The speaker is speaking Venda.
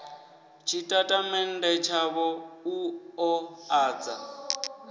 tshitatamennde tshavho u ḓo ḓadza